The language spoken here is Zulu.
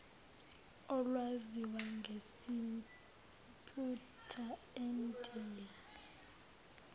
olwaziwa ngesimputer endiya